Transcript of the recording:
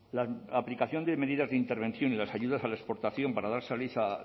la aplicación de medidas de intervención y las ayudas a la exportación para dar salida